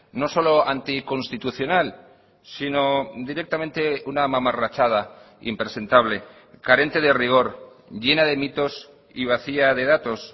no solo anticonstitucional sino directamente una mamarrachada impresentable carente de rigor llena de mitos y vacía de datos